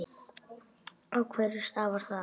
Af hverju stafar það?